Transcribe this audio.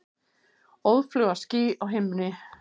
Óðfluga ský á himni.